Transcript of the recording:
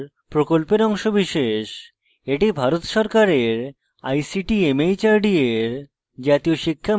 এটি ভারত সরকারের ict mhrd এর জাতীয় শিক্ষা mission দ্বারা সমর্থিত